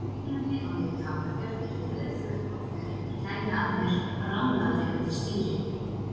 Kringlunni á leið í Hafnarfjörð yrði rauðflekkótt þegar einhver kæmi að mér bramlaðri undir stýri.